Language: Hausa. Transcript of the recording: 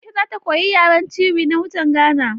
Aisha za ta koyi yaren Tiwi na mutan Gana